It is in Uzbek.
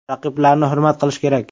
Raqiblarni hurmat qilish kerak.